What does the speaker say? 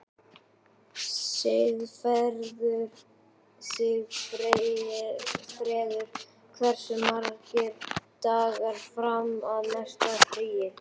Sigfreður, hversu margir dagar fram að næsta fríi?